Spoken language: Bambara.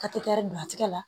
Ka teri don a tigɛ la